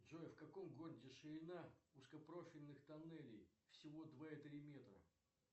джой в каком городе ширина узкопрофильных тоннелей всего два и три метра